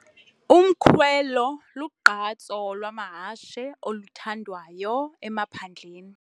Umkhwelo lugqatso lwamahashe oluthandwayo emaphandleni.